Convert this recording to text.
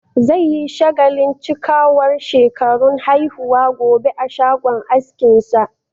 Zai yi shagalin cikawar shekarun haihuwa gobe a shagon askinsa.